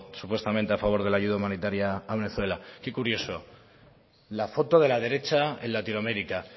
supuestamente a favor de la ayuda humanitaria a venezuela qué curioso la foto de la derecha en latinoamérica